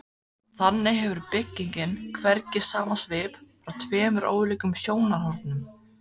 Þannig hefur byggingin hvergi sama svip frá tveimur ólíkum sjónarhornum.